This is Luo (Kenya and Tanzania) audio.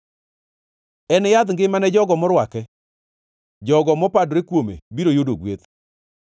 En yadh ngima ne jogo morwake; jogo mopadore kuome biro yudo gweth.